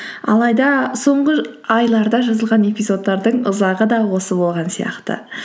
алайда соңғы айларда жазылған эпизодтардың ұзағы да осы болған сияқты